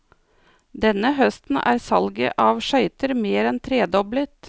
Denne høsten er salget av skøyter mer enn tredoblet.